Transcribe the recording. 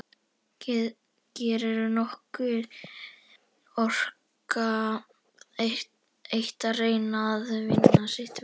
Gerður orkar það eitt að reyna að vinna sitt verk.